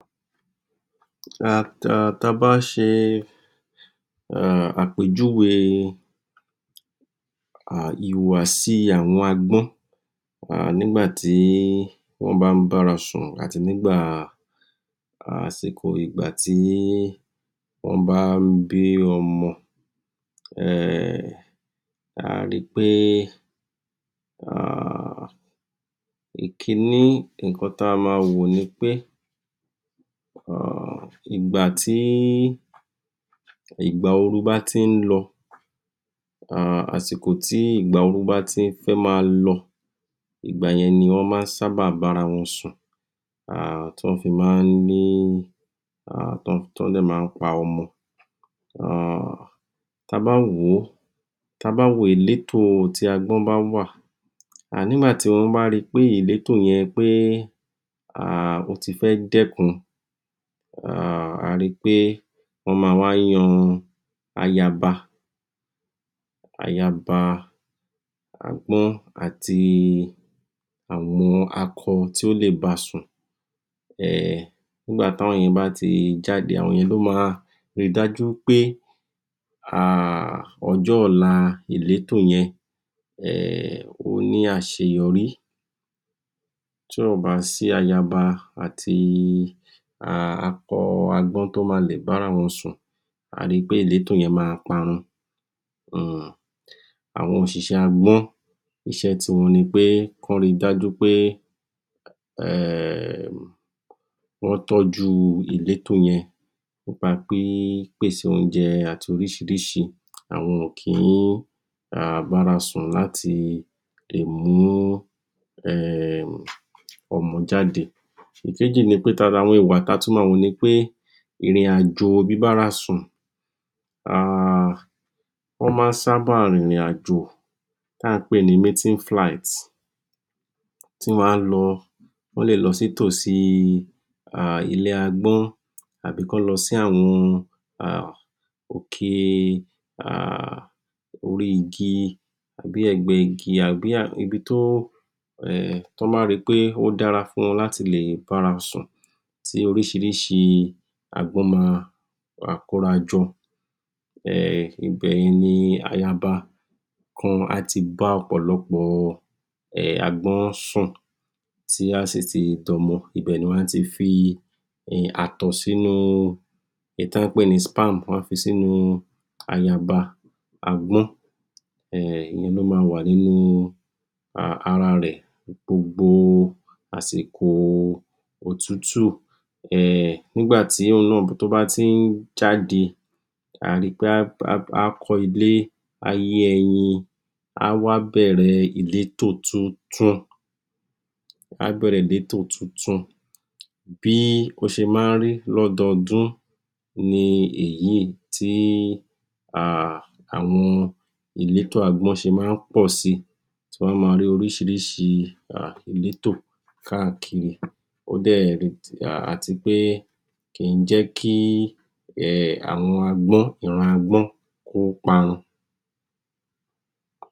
um Ta bá ṣe àpéjúwe um ìhùwàsí àwọn agbọ́n. um Nígbàtí wọ́n bá ń bárasùn àti um nígbàtí wọ́n bá n bí ọmọ. um A ri pé um ìkín í ǹkan ta máa wò ni pé, um ìgbàtí ìgbà ooru bá ti ń lọ, um àsìkò tí ìgbà ooru bá ti fẹ́ máa lọ, ìgbàyẹn ni wọ́n máa ń sábà bára wọn sùn. um Tí wọ́n fi maá ní, um t'ọ́ń dẹ̀ maá pa ọmọ um Ta bá wòó, ta bá wo ìlétò tí agbọ́n bá wà, nígbàtí wọ́n bá ri pé ìlétò yẹn pé ó ti fẹ́ dẹ́kun, um a ri pé wọ́n máa wá yan ayaba um agbọ́n àti àwọn akọ tí ó lè basùn. um Nígbàtí àwọn yẹn bá ti jáde, àwọn yẹn ló máa ri dájú pé um ọjọ́ ọ̀la ìlétò yẹn um ó ní àṣeyọrí. um Tí ò bá sí ayaba àti akọ agbọ́n tó máa lè bára wọn sùn, a ri pé ìlétòẹn máa parun. um Àwọn òṣìṣẹ́ agbọ́n, iṣé ti wọn nipé kán ri pé wọ́n tọ́júu ìlétò yẹn. Nípa pípèsè oúnjẹ àti orísìírísìí. Àwọn ò kíí um bárasùn làti lè mú um ọmọ jáde. Ìkéjì ni pé lára àwọn ìwà táa tún máa wò nipé, ìrìnàjò bíbárasùn um Wọ́n má sábà rìnrìn àjò tá ń pè ní meeting flight, tí wọ́n á lọ, wọ́n le lọ sí ìtòsí ilé agbọ́n. Tàbí kán lọ sí àwọn um òkè um orí igi um tàbí ẹ̀gbẹ igi tàbí ibi tó, tán bá ri pé ó dára láti le bára sùn, tí orísìírísìí agbọ́n máa wà kórajọ. Ibẹ̀yẹn ni ayaba kan á ti bá òpòlọpò um agbọ́n sùn tí á sì ti d'ọmọ. Ibẹ̀ ni wọ́n á ti fi ààtọ̀ sínu um èyí tí wọ́n pè ní sperm wọ́n á fi sínu ayaba agbọ́n. Ìyẹn ló máa wà nínú um ara rẹ̀ gbogbo àsìkò òtútù. um Nígbàtí òun náà tó báti ń jáde, a ri pé á kọ́ ilé á yé ẹyin, á wá bẹ́rẹ̀ ìlétò tuntun Bí ó ṣe ma ń rí lọ́dọọdún ni èyíì tí um àwọn ìlétò agbọ́n ṣe ma ń pọ̀ si tí wọ́n á máa ní orísìírísìí ìlétò káàkiri. um À ti wípé kìí jẹ́ kí um àwọn agbọ́n, ìran agbọ́n kó parun.